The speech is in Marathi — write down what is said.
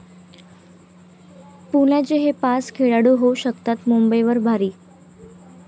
पुण्याचे हे पाच खेळाडू होऊ शकतात मुंबईवर भारी